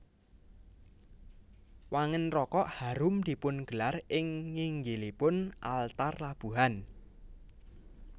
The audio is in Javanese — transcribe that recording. Wangen rokok harum dipungelar ing nginggilipun altar labuhan